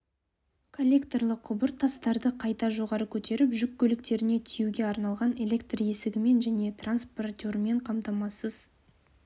коллекторлы құбыр тастарды қайта жоғары көтеріп жүк көліктеріне тиеуге арналған электр есігімен және транспортермен қамтамасыз